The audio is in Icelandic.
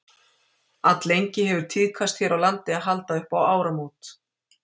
Alllengi hefur tíðkast hér á landi að halda upp á áramót.